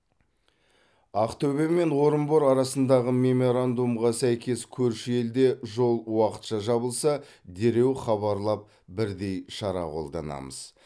ақтөбе мен орынбор арасындағы меморандумға сәйкес көрші елде жол уақытша жабылса дереу хабарлап бірдей шара қолданамыз